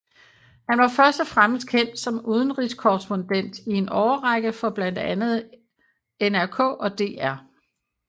Han var først og fremmest kendt som udenrigskorrespondent i en årrække for blandt andet NRK og DR